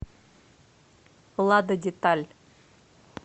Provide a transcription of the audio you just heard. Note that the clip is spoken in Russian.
лада деталь